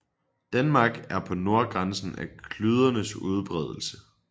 Danmark er på nordgrænsen af klydernes udbredelse